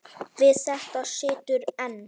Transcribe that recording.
Við þetta situr enn.